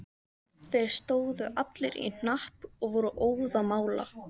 Þeir stóðu allir í hnapp og voru óðamála.